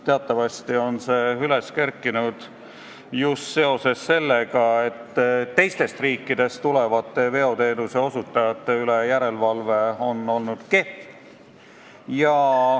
Teatavasti on see üles kerkinud just seoses sellega, et teistest riikidest tulevate veoteenuse osutajate üle tehtav järelevalve on olnud kehv.